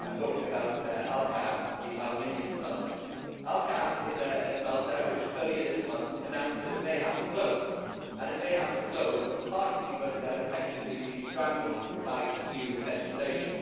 I am talking about Alcan, the aluminium smelter. Alcan is a smelter which earlier this month announced that it may have to close and it may have to close partly because it has effectively been strangled by EU legislation.